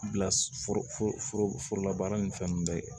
Bila forola baara ni fɛn ninnu bɛɛ kɛ